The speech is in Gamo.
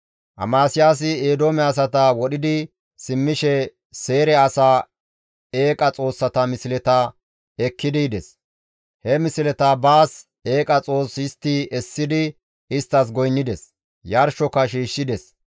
Amasiyaasi Eedoome asata wodhidi simmishe Seyre asaa eeqa xoossata misleta ekkidi yides; he misleta baas eeqa xoos histti essidi isttas goynnides; yarshoka shiishshides.